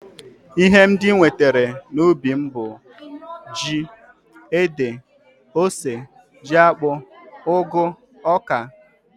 Ihe ndị m nwetara n'ubi m bụ ji, ede, ose, jiakpụ, ụgụ, oka